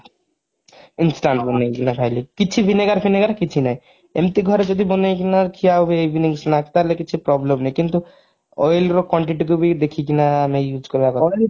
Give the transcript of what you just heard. instant ବନେଇକିନା ଖାଇଲି କିଛି ଭିନିଗର ଫିନେଗାର କିଛି ନାହିଁ ଏମିତି ଘରେ ଯଦି ବନେଇକିନା ଖିଆ ହୁଏ evening snacks ତାହେଲେ କିଛି problem ନାହିଁ କିନ୍ତୁ oil ର quantity କୁ ବି ଦେଖିକିନା ଆମେ use କରିବା କଥା